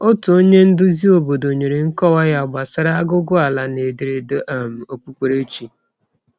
Otu onye nduzi obodo nyere nkọwa ya gbasara aguguala na ederede um okpukperechi.